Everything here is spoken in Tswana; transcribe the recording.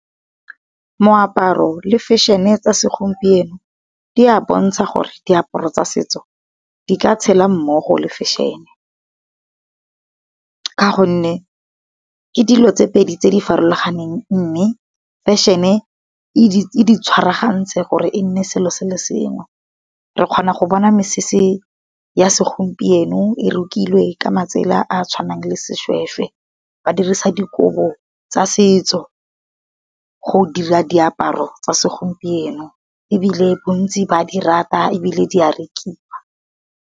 Moaparo le fešene tsa segompieno, di a bontsha gore diaparo tsa setso di ka tshela mmogo le fešhene. Ka gonne ke dilo tse pedi tse di farologaneng, mme fešhene e di tshwaragantse gore e nne selo se le sengwe. Re kgona go bona mesese ya segompieno e rukilwe ka matsela a tshwanang le seshweshwe ba dirisa dikobo tsa setso. Go dira diaparo tsa segompieno, ebile bontsi ba di rata ebile di a rekiwa.